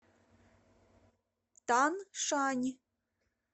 таншань